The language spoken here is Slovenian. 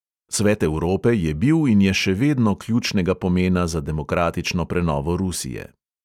Svet evrope je bil in je še vedno ključnega pomena za demokratično prenovo rusije.